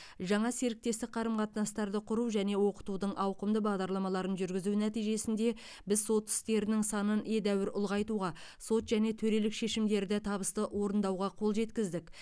жаңа серіктестік қарым қатынастарды құру және оқытудың ауқымды бағдарламаларын жүргізу нәтижесінде біз сот істерінің санын едәуір ұлғайтуға сот және төрелік шешімдерді табысты орындауға қол жеткіздік